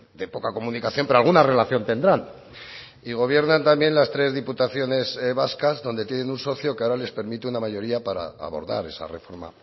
de poca comunicación pero alguna relación tendrán y gobiernan también las tres diputaciones vascas donde tienen un socio que ahora les permite una mayoría para abordar esa reforma